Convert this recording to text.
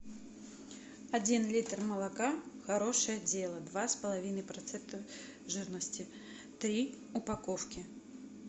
один литр молока хорошее дело два с половиной процента жирности три упаковки